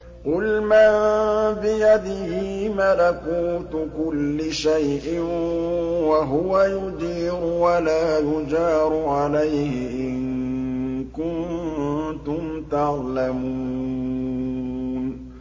قُلْ مَن بِيَدِهِ مَلَكُوتُ كُلِّ شَيْءٍ وَهُوَ يُجِيرُ وَلَا يُجَارُ عَلَيْهِ إِن كُنتُمْ تَعْلَمُونَ